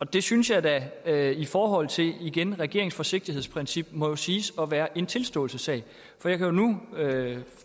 det synes jeg da da i forhold til regeringens forsigtighedsprincip må siges at være en tilståelsessag jeg kan jo nu